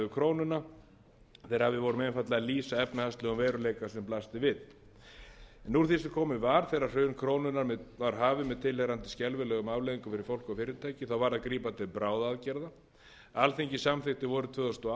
krónuna þegar við vorum einfaldlega að lýsa efnahagslegum veruleika sem blasti við en úr því sem komið var þegar hrun krónunnar var hafið með tilheyrandi skelfilegum afleiðingum fyrir fólk og fyrirtæki þá varð að grípa til bráðaaðgerða alþingi samþykkti vorið tvö þúsund og